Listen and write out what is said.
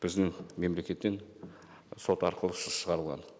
біздің мемлекеттен сот арқылы шығарылған